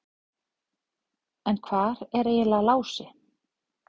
En hvar er eiginlega Lási?